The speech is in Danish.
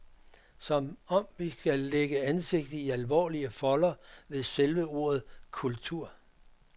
Som om vi skal lægge ansigtet i alvorlige folder ved selve ordet kultur.